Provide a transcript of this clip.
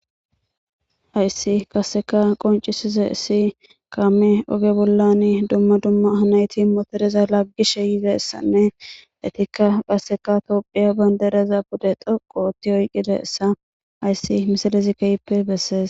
hayssi kasseka qoncisize issi kaame oge bollan dumma dumma nayti motoreza laggishe yizeessanne etikka gasseka toophiya bandereza bude doqooti oyqqide essa hayssi misalezi keyppe bessees